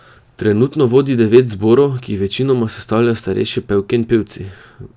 Trenutno vodi devet zborov, ki jih večinoma sestavljajo starejše pevke in pevci.